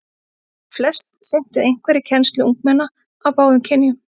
Flest sinntu einhverri kennslu ungmenna af báðum kynjum.